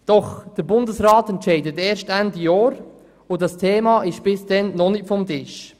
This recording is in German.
Der Bundesrat entscheidet erst Ende Jahr und dieses Thema ist bis dahin noch nicht vom Tisch.